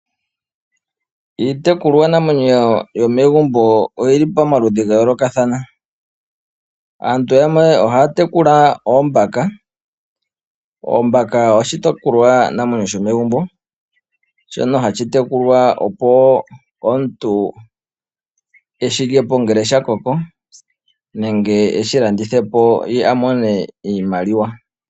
Iitkulwa namwenyo yomegumbo oyili pamaludhi gayolokathana. Aantu yamwe ohaa tekula Oombaka. Oombaka oshitekulwa namwenyo shomegumbo. Shono hashi tekulwa opo omuntu eshi lyepo ngele sha koko nenge eshi landithepo ye a mone iimaliwa.